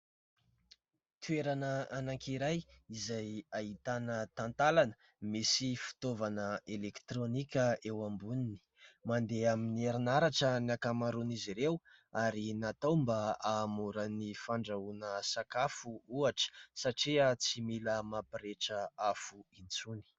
Toerana anankiray izay ahitana talantalana misy fitaovana elektronika eo amboniny ; mandeha amin'ny herinaratra ny ankamaroan'izy ireo ; ary natao mba hahamora ny fandrahoana sakafo ohatra satria tsy mila mampirehitra afo intsony.